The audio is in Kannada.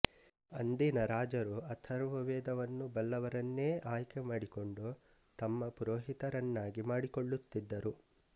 ಅಂದಿನ ರಾಜರು ಅಥರ್ವವೇದವನ್ನು ಬಲ್ಲವರನ್ನೇ ಆಯ್ದುಕೊಂಡು ತಮ್ಮ ಪುರೋಹಿತರನ್ನಾಗಿ ಮಾಡಿಕೊಳ್ಳುತ್ತಿದ್ದರು